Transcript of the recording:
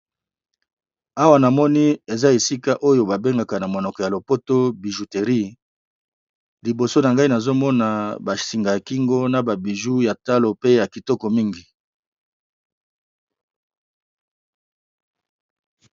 awa na moni eza esika oyo babengaka na monoko ya lopoto bijuteri liboso na gai nazomona basinga ya kingo na babiju ya talo pe ya kitoko mingi